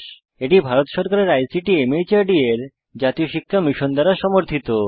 এটি ভারত সরকারের ICT MHRD এর জাতীয় শিক্ষা মিশন দ্বারা সমর্থিত